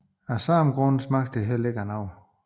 Af samme grund smager det heller ikke af noget